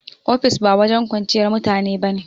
Ofis ba wajen kwanciyar mutane ba ne